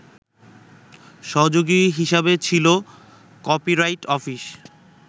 সহযোগী হিসেবে ছিল কপিরাইট অফিস